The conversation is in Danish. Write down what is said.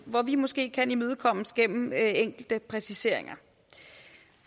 hvor vi måske kan imødekommes gennem enkelte præciseringer